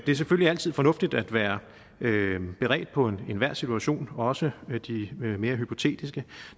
er selvfølgelig altid fornuftigt at være beredt på enhver situation også de mere hypotetiske